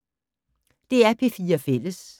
DR P4 Fælles